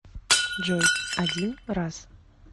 джой один раз